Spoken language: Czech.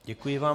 Děkuji vám.